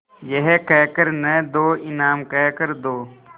यह कह कर न दो इनाम कह कर दो